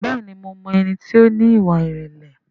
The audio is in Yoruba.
Bẹ́ẹ̀ni mo mọ ẹni tí ó ní ìwà ìrẹ̀lẹ̀